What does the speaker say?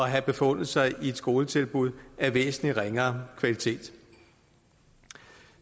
have befundet sig i et skoletilbud af væsentlig ringere kvalitet